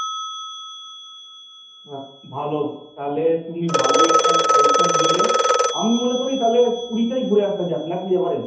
বাহ! ভালো, তাহলে তুমি ভালোই একখানা suggestion দিলে, আমি মনে করি তাহলে পুরীটাই ঘুরে আসা যাক নাকি এবারে?